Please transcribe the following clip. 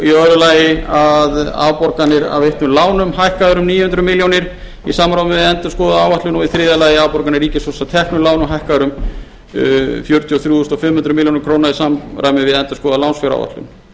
í öðru lagi að afborganir af veittum lánum hækka um níu hundruð fimmtíu milljónir í samráði við endurskoðaða áætlun og í þriðja lagi afborganir ríkissjóðs af teknum lánum hækkaðar um fjörutíu og þrjú þúsund fimm hundruð milljóna króna í samræmi við endurskoðana lánsfjáráætlun